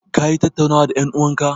Ka yi tattaunawan da en'uwan ka?